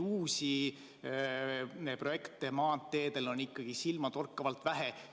Uusi projekte maanteedel on silmatorkavalt vähe.